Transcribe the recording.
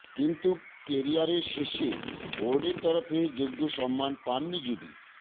কিন্তু কেরিয়ারে শেষে বোর্ডের তরফে যোগ্য সম্মান পাননি যুবি